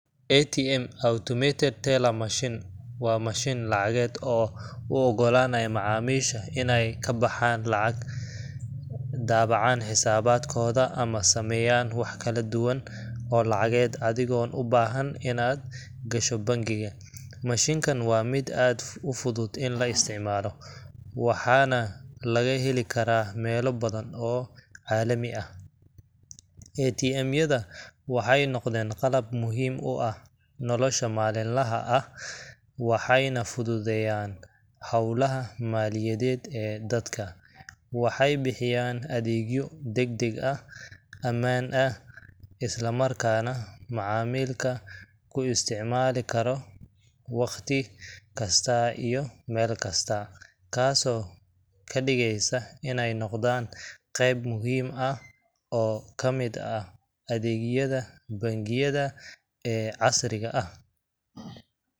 ATM Automated Teller Machine waa mashiin lacageed oo u oggolaanaya macaamiisha inay ka baxaan lacag, daabacaan xisaabaadkooda, ama sameeyaan wax kala duwan oo lacageed adigoon u baahnayn inaad gasho bangiga. Mashiinkan waa mid aad u fudud in la isticmaalo, waxaana laga heli karaa meelo badan oo caalami ah. ATM yada waxay noqdeen qalab muhiim u ah nolosha maalinlaha ah, waxayna fududeeyaan hawlaha maaliyadeed ee dadka. Waxay bixiyaan adeegyo degdeg ah, ammaan ah, isla markaana macmiilka ku isticmaali karo wakhti kasta iyo meel kasta, taasoo ka dhigaysa inay noqdaan qayb muhiim ah oo ka mid ah adeegyada bangiyada ee casriga ah